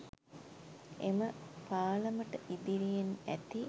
එම පාලමට ඉදිරියෙන් ඇති